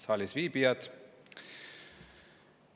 Saalisviibijad!